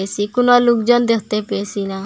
যে কোনা লুকজন দেখতে পেয়েসি না।